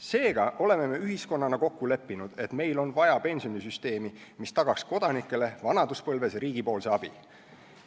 Seega oleme me ühiskonnana kokku leppinud, et meil on vaja pensionisüsteemi, mis tagaks kodanikele vanaduspõlves riigi abi.